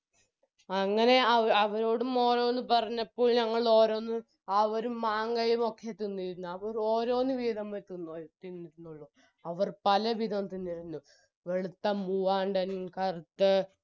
അങ്ങനെ അവരോടും ഓരോന്നും പറഞ്ഞപ്പോൾ ഞങ്ങളോരോന്നും അവരും മാങ്ങയും ഒക്കെ തിന്നിരുന്നു അവര് ഓരോന്ന് വീതം വെച്ച് തിന്നു തിന്നുരുന്നുള്ളു അവർ പലവിധം തിന്നിരുന്നു വെളുത്ത മൂവാണ്ടൻ കറുത്ത